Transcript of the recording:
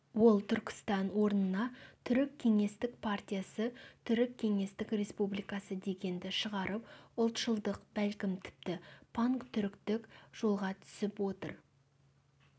ол түркістан орнына түрік кеңестік партиясы түрік кеңестік республикасы дегенді шығарып ұлтшылдық бәлкім тіпті пантүріктік жолға түсіп отыр